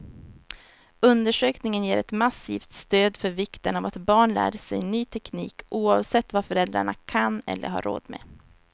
Undersökningen ger ett massivt stöd för vikten av att barn lär sig ny teknik, oavsett vad föräldrarna kan eller har råd med.